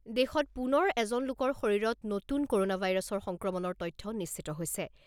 দেশত পুনৰ এজন লোকৰ শৰীৰত নতুন ক'ৰনা ভাইৰাছৰ সংক্ৰমণৰ তথ্য নিশ্চিত হৈছে।